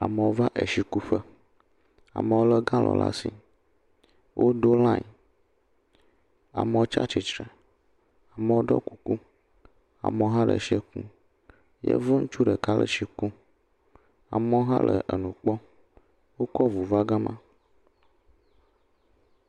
Amewo va eshikuƒe. Amewo lé galɔ̃nu le ashi. Woɖo lãe. Amewo tsa tsitsre, amewo ɖɔ kuku. Amewo hã le shiɛ kum. Yevu ŋutsu ɖeka le shi kum. Amewo hã le nu kpɔm. Wokɔ ŋu va gama.